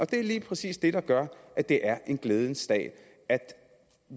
det er lige præcis det der gør at det er en glædens dag